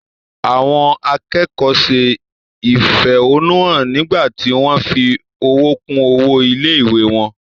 Àwọn akẹ́kọ̀ọ́ se ìfẹ̀hónúhàn nígbà tí wọ́n fi owó kún owó ilé-ìwé wọn.